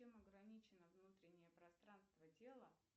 чем ограничено внутреннее пространство тела